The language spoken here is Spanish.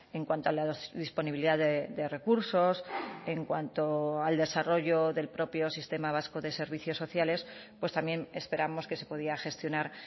en cuanto a la disponibilidad de recursos en cuanto al desarrollo del propio sistema vasco de servicios sociales también esperamos que se podía gestionar